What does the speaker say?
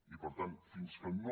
i per tant fins que no